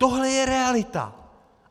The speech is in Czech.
Tohle je realita.